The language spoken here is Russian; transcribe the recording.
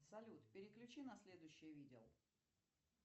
салют переключи на следующее видео